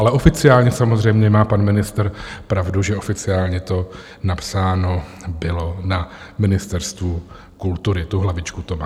Ale oficiálně samozřejmě má pan ministr pravdu, že oficiálně to napsáno bylo na Ministerstvu kultury, tu hlavičku to má.